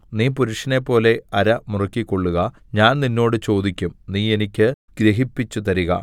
നീ പുരുഷനെപ്പോലെ അര മുറുക്കിക്കൊള്ളുക ഞാൻ നിന്നോട് ചോദിക്കും നീ എനിക്ക് ഗ്രഹിപ്പിച്ചുതരുക